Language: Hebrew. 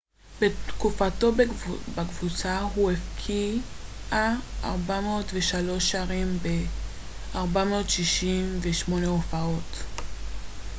בתקופתו בקבוצה הוא הבקיע 403 שערים ב-468 הופעות